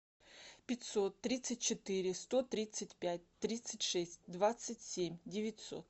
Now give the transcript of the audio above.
пятьсот тридцать четыре сто тридцать пять тридцать шесть двадцать семь девятьсот